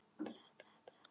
Hún misstígur sig.